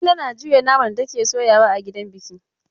Talle na juya naman da take soyawa a gidan biki.